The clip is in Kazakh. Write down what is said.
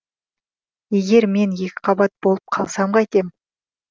егер мен екіқабат болып қалсам қайтем